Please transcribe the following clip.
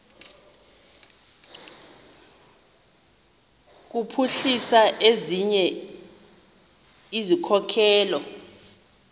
kuphuhlisa ezinye izikhokelo